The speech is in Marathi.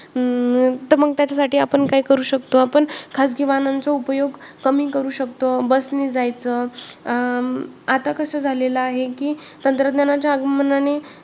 अं तर मग त्याच्यासाठी आपण काय करू शकतो, आपण खाजगी वाहनांचा उपयोग कमी करू शकतो, bus नी जायचं अं आता कसं झालेलं आहे की तंत्रज्ञानाच्या आगमनाने